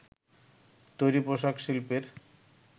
তৈরী পোশাক শিল্পের